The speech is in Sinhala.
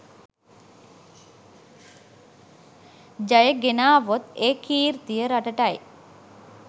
ජය ගෙනාවොත් ඒ කීර්තිය රටටයි.